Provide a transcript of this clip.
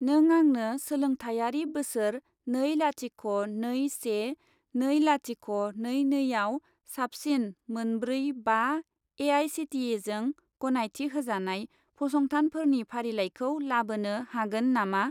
नों आंनो सोलोंथायारि बोसोर नै लाथिख' नै से नै लाथिख' नै नै आव साबसिन मोन ब्रै बा ए.आइ.सि.टि.इ.जों गनायथि होजानाय फसंथानफोरनि फारिलाइखौ लाबोनो हागोन नामा?